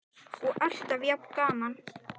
Elísabet: Og alltaf jafn gaman?